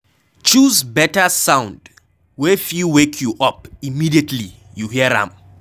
choose better sound wey fit wake you up immediately you hear am